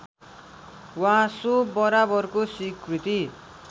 वा सो बराबरको स्वीकृति